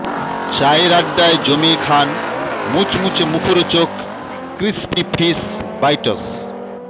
চায়ের আড্ডায় জমিয়ে খান মুচমুচে মুখরোচক ক্রিসপি ফিশ বাইটস